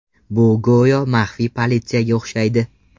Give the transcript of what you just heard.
Bu go‘yo maxfiy politsiyaga o‘xshaydi.